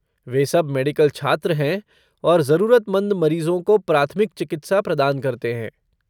वे सब मेडिकल छात्र हैं और जरूरतमंद मरीजों को प्राथमिक चिकित्सा प्रदान करते हैं।